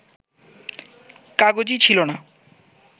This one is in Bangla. কাগজই ছিল না